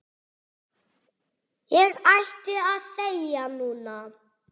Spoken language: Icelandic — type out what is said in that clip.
Ég ætti að þegja núna.